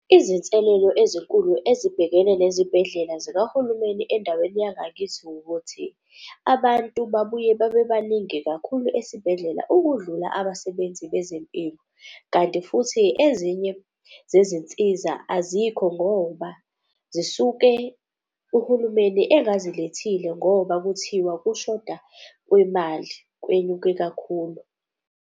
Izinselelo ezinkulu ezibhekene nezibhedlela zikahulumeni endaweni yangakithi wukuthi abantu babuye babe baningi kakhulu esibhedlela ukudlula abasebenzi bezempilo. Kanti futhi ezinye zezinsiza azikho ngoba zisuke uhulumeni engazilethile ngoba kuthiwa ukushoda kwemali kwenyuke kakhulu.